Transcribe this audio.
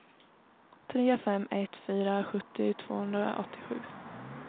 tre fem ett fyra sjuttio tvåhundraåttiosju